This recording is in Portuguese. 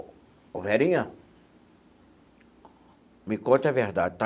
Ô, Verinha, me conte a verdade.